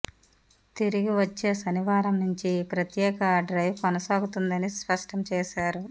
తిరిగి వచ్చే శనివారం నుంచి ఈ ప్రత్యేక డ్రైవ్ కొనసాగుతుందని స్పష్టం చేశారు